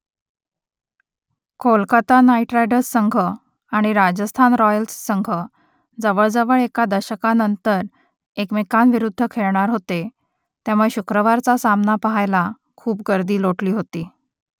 Kolkata Knight Riders संघ आणि Rajasthan Royals संघ जवळजवळ एका दशकानंतर एकमेकांविरुद्ध खेळणार होते त्यामुळे शुक्रवारचा सामना पहायला खूप गर्दी लोटली होती